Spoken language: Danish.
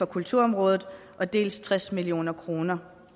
kulturområdet dels tres million kroner